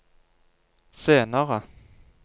senere